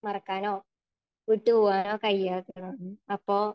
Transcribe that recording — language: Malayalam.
മറക്കാനോ വിട്ടുപോകാനോ കഴിയാത്തതാണ്. അപ്പൊ